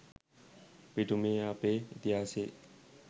පිටු මේ අපේ ඉතිහාසයේ